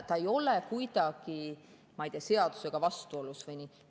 See ei ole kuidagi, ma ei tea, seadusega vastuolus või nii.